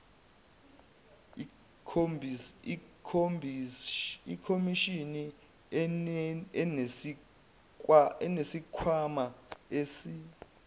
ikhomishini inesikhwama esi